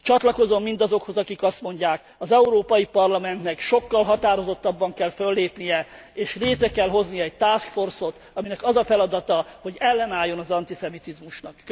Csatlakozom mindazokhoz, akik azt mondják, az Európai Parlamentnek sokkal határozottabban kell föllépnie és létre kell hozni egy task force ot, aminek az a feladata, hogy ellenálljon az antiszemitizmusnak.